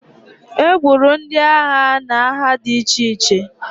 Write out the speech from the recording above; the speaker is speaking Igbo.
E gburu ndị agha n'agha di iche iche.